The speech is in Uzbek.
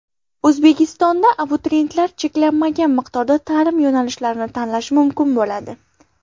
O‘zbekistonda abituriyentlar cheklanmagan miqdorda ta’lim yo‘nalishlarini tanlashi mumkin bo‘ladi.